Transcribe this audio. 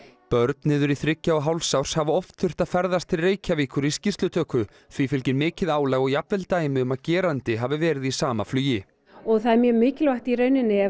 börn niður í þriggja og hálfs árs hafa oft þurft að ferðast til Reykjavíkur í skýrslutöku því fylgir mikið álag og jafnvel dæmi um að gerandi hafi verið í sama flugi og það er mjög mikilvægt í rauninni ef